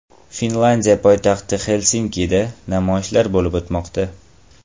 Finlyandiya poytaxti Xelsinkida namoyishlar bo‘lib o‘tmoqda.